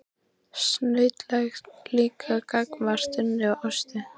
Snautlegt líka gagnvart Unni og Ásu.